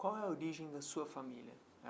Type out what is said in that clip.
Qual é a origem da sua família?